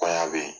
Kɔɲɔ be yen